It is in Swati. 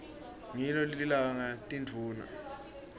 ngilo lilanga tindvuna